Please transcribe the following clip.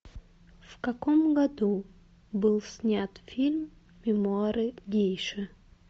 в каком году был снят фильм мемуары гейши